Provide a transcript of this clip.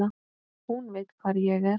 Hún veit hvar ég er.